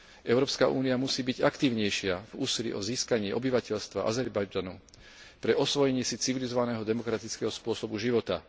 Európska únia musí byť aktívnejšia v úsilí o získanie obyvateľstva Azerbajdžanu pre osvojenie si civilizovaného demokratického spôsobu života.